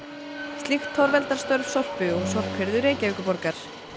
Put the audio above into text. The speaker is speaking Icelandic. slíkt torveldar störf Sorpu og sorphirðu Reykjavíkurborgar